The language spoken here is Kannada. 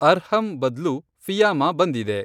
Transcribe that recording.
ಅರ್ಹಂ ಬದ್ಲು ಫಿ಼ಯಾಮಾ ಬಂದಿದೆ